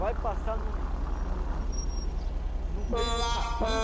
Vai passar no no no no meio do capim,